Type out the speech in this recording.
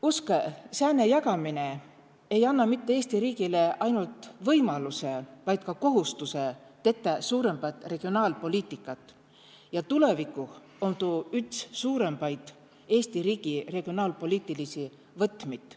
Uskõ, sääne jagaminõ ei anna mitte Eesti riigile ainult võimaluse, vaid ka kohustuse tettä suurõmbat regionaalpoliitikat ja tulevikuh om tuu üts suurõmbaid Eesti riigi regionaalpoliitilisi võtmid.